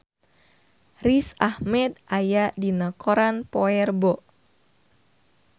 Riz Ahmed aya dina koran poe Rebo